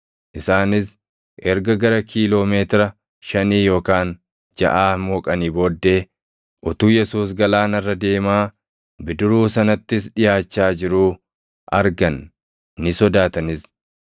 Isaanis erga gara kiiloo meetira shanii yookaan jaʼaa mooqanii booddee utuu Yesuus galaana irra deemaa, bidiruu sanattis dhiʼaachaa jiruu argan; ni sodaatanis.